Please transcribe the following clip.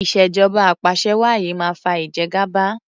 ìṣèjọba apàṣẹwàá yìí máa fa ìjẹgàba.